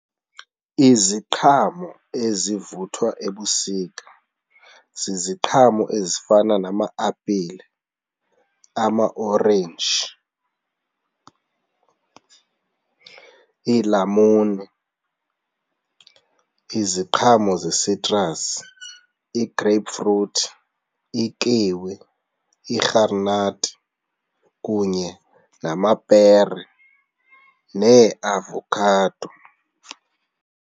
Iziqhamo ezivuthwa ebusika ziziqhamo ezifana nama-apile, amaorenji, iilamuni iziqhamo ze-citrus, i-grapefruit, ikiwi, irharinathi kunye namapere neeavokhado.